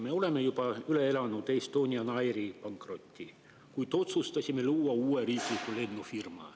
Me oleme juba üle elanud Estonian Airi pankroti, kuid otsustasime luua uue riikliku lennufirma.